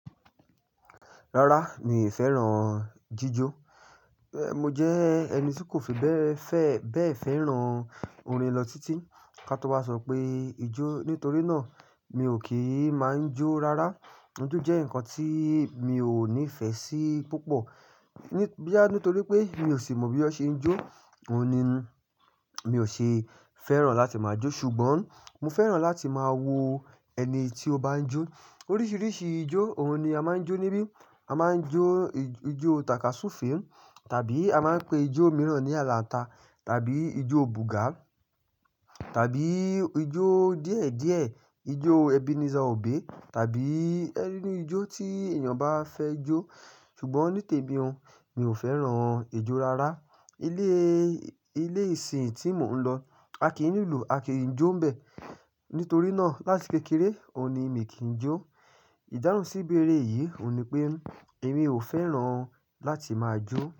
Rárá, mi ò fẹ́ràn jíjó. Mo jẹ́ ẹni tí kò fi bẹ́ẹ̀ fẹ́ràn orin lọ títí. Ka tó wá sọ pé ijó, nítorí náà mi ò kì í máa ń jó rárá. Ijó jẹ́ nǹkan tí mi ò nífẹ̀ẹ́ sí púpọ̀. Boyà nítorí pé mi ò sì mọ bí wọ́n ṣe ń jó, òun ni mi ò ṣe fẹ́ràn láti máa jó. Ṣùgbọ́n mo fẹ́ràn láti máa wo ẹni tí ó bá ń jó. Oríṣiríṣi ijó òun ni a máa ń jó níbí. A máa ń jó ijó Tàkású-fè, tàbí a máa ń pe ijó mìíràn ní Àlàńta, tàbí ijó Bùgà, tàbí ijó díẹ̀díẹ̀, ijó Ebenezer obe, tàbí iru ijó tí èèyàn bá fẹ́ jó. Ṣùgbọ́n ní tèmi ò, mi ò fẹ́ràn ijó rárá. Ilé ìsìn tí mò ń lọ, a kì í lùlú, a kì ń jó ń bẹ. Nítorí náà láti kékeré òun ni mi kì ń jó. Ìdáhùn sí beere yìí òun ni pé èmi ò fẹ́ràn láti máa jó.